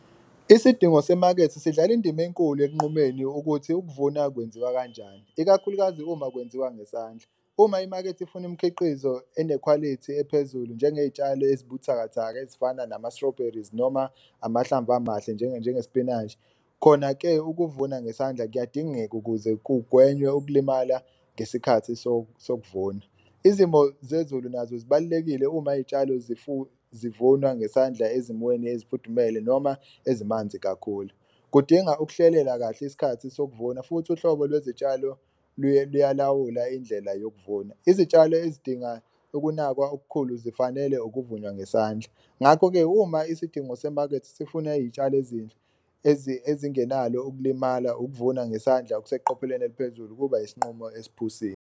Isidingo semakethe sidlala indima enkulu ekunqumeni ukuthi ukuvuna kwenziwa kanjani, ikakhulukazi uma kwenziwa ngesandla. Uma imakethe ifuna umkhiqizo enekhwalithi ephezulu njengey'tshalo ezibuthakathaka ezifana nama-strawberries noma amahlamvu amahle njengespinashi. Khona-ke ukuvuna ngesandla kuyadingeka ukuze kugwenywe ukulimala ngesikhathi sokuvuma, izimo zezulu nazo zibalulekile uma iy'tshalo zivunwa ngesandla ezimweni ezifudumele noma ezimanzi kakhulu. Kudinga ukuhlelela kahle isikhathi sokuvuna futhi uhlobo lwezitshalo luyalawula indlela yokuvuna, izitshalo ezidinga ukunakwa okukhulu zifanele ukuvunwa ngesandla. Ngakho-ke uma isidingo semakethe sifuna iy'tshalo ezinhle ezingenalo ukulimala, ukuvuna ngesandla okuseqophelweni eliphezulu kuba isinqumo esiphusile.